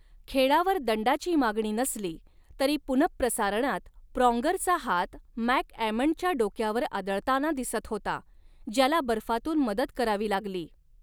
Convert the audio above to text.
खेळावर दंडाची मागणी नसली तरी पुनःप्रसारणात प्रॉन्गरचा हात मॅकॲमंडच्या डोक्यावर आदळताना दिसत होता ज्याला बर्फातून मदत करावी लागली.